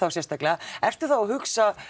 sérstaklega ertu þá að hugsa